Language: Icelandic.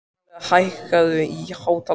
Marela, hækkaðu í hátalaranum.